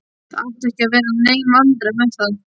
Það áttu ekki að verða nein vandræði með það.